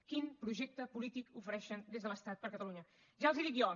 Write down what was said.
quin projecte polític ofereixen des de l’estat per a catalunya ja els ho dic jo